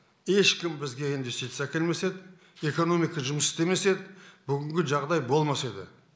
ешкім бізге инвестиция әкелмес еді экономика жұмыс істемес еді бүгінгі жағдай болмас еді